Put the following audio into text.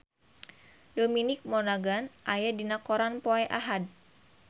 Dominic Monaghan aya dina koran poe Ahad